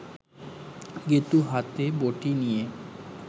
গেঁতু হাতে বটি নিয়ে